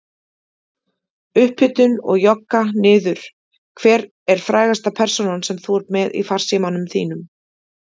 Upphitun og jogga niður Hver er frægasta persónan sem þú ert með í farsímanum þínum?